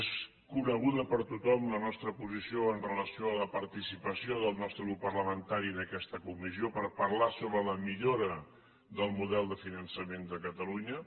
és coneguda per tothom la nostra posició amb relació a la participació del nostre grup parlamentari en aquesta comissió per parlar sobre la millora del model de finançament de catalunya